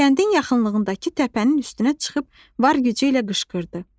Kəndin yaxınlığındakı təpənin üstünə çıxıb var gücü ilə qışqırdı.